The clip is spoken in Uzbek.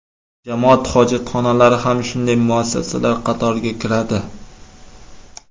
Jamoat hojatxonalari ham shunday muassasalar qatoriga kiradi.